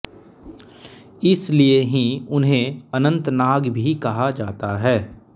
इसलिए ही उन्हें अनंतनाग भी कहा जाता है